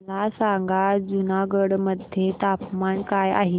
मला सांगा जुनागढ मध्ये तापमान काय आहे